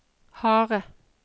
harde